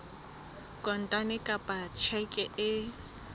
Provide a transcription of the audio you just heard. kontane kapa ka tjheke e